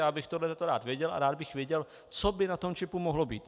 Já bych tohle rád věděl a rád bych věděl, co by na tom čipu mohlo být.